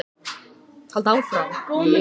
Ég er ákveðinn í að fara til Íslands, mamma.